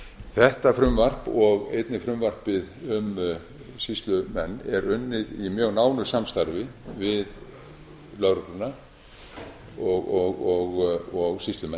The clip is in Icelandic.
þetta frumvarp og einnig frumvarpið um sýslumenn er unnið í mjög nánu samstarfi við lögregluna og sýslumenn